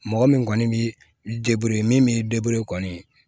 Mɔgɔ min kɔni bi min b'i kɔni